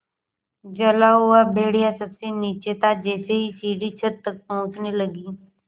जला हुआ भेड़िया सबसे नीचे था जैसे ही सीढ़ी छत तक पहुँचने लगी